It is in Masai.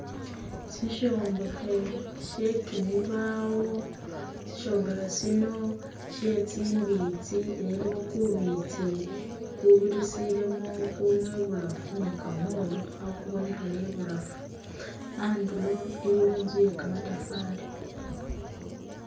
Sishombekhe she kimibawo, sishombekhe siino she tsimbitsi elah iliwo kubitsi kubirisilemo kunywa ibulafu ni kamolu khakubonekhela ibulafu, andulo iliwo intzu yekamatafali